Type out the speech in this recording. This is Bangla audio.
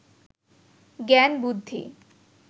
জ্ঞান বুদ্ধি